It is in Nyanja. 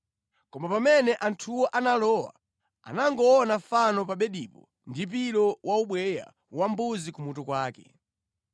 Koma pamene anthuwo analowa, anangoona fano pa bedipo ndi pilo wa ubweya wa mbuzi ku mutu kwake.